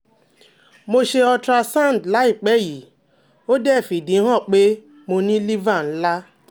mo se ultrasound layipe yi, ode fi idi han pe mo ni liver nla